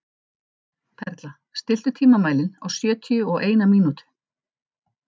Perla, stilltu tímamælinn á sjötíu og eina mínútur.